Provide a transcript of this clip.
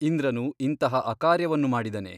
ಇಂದ್ರನು ಇಂತಹ ಅಕಾರ್ಯವನ್ನು ಮಾಡಿದನೆ !